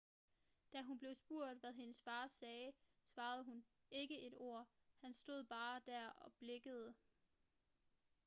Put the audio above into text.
da hun blev spurgt hvad hendes far sagde svarede hun ikke et ord han stod bare der og blinkede